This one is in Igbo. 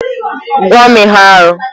Gwa m ihe arụ!